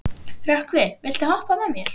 Rökkvi, viltu hoppa með mér?